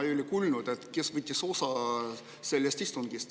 Ma ei kuulnud, kes võtsid sellest istungist osa.